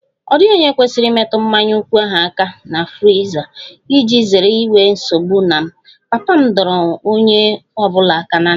Ọ dịghị onye kwesịrị imetụ mmanya nkwụ ahụ aka na friza iji zere inwe nsogbu na m, papa m dọrọ onye ọ bụla aka ná ntị